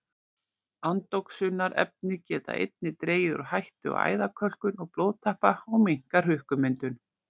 Andoxunarefni geta einnig dregið úr hættu á æðakölkun og blóðtappa og minnkað hrukkumyndun.